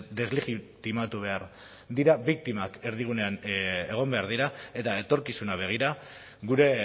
deslegitimatu behar dira biktimak erdigunean egon behar dira eta etorkizuna begira gure